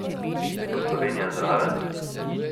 Bo Slovenija zraven?